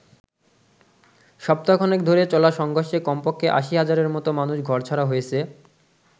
সপ্তাহ খানেক ধরে চলা সংঘর্ষে কমপক্ষে আশি হাজারের মতো মানুষ ঘরছাড়া হয়েছে।